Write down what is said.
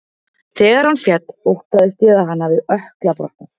Þegar hann féll óttaðist ég að hann hafi ökkla brotnað.